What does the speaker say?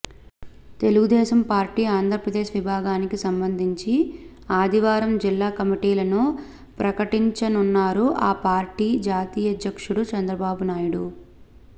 Telugu Desam party Andhra Pradesh విభాగానికి సంబంధించి ఆదివారం జిల్లా కమిటీలను ప్రకటించనున్నారు ఆ పార్టీ జాతీయాధ్యక్షుడు చంద్రబాబు నాయుడు